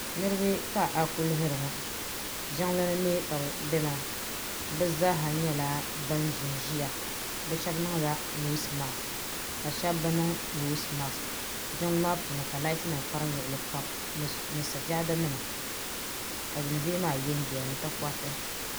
niriba ka a kuli lihiri ŋɔ jinli ni ka be bɛ maa be zaa nyɛla bɛni ʒɛn ʒɛya be shɛbi niŋla nosimaki ka shɛbi be niŋ nosimaki jinli. maa puuni ka laati nim kparim luɣili kam ni sajamima ka dondoya maa yɛnyɛya ni takoritɛ